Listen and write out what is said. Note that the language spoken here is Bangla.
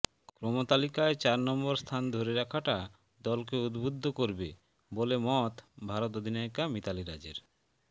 ক্রমতালিকায় চার নম্বর স্থান ধরে রাখাটা দলকে উদ্বুদ্ধ করবে বলে মত ভারত অধিনায়িকা মিতালি রাজের